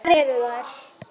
Hvar eru þær?